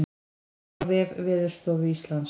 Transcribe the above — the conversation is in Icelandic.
Nánar á vef Veðurstofu Íslands